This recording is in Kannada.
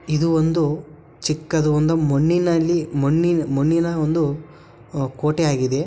ಇದು ಒಂದು ಚಿಕ್ಕದು ಮಣ್ಣಿನಲ್ಲಿ ಮಣ್ಣಿ-ಮಣ್ಣಿನ ಒಂದು ಕೋಟೆ ಆಗಿದೆ